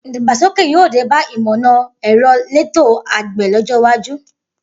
Idàgbá ṣókẹ yio dẹbà ìmọná ẹrọ lẹ̀tó àgbẹ lọjọ wàjú